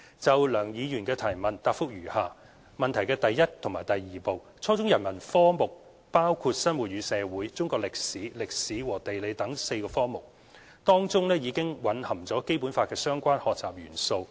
就梁耀忠議員的主體質詢，現答覆如下：一及二初中人文科目，包括生活與社會、中國歷史、歷史和地理等4個課程，當中已經蘊含《基本法》的相關學習元素。